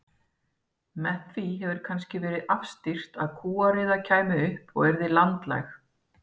Með því hefur kannski verið afstýrt að kúariða kæmi upp og yrði landlæg.